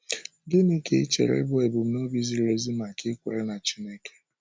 Gịnị ka i chere bụ́ ebumnobi ziri ezi maka ikwere na Chineke?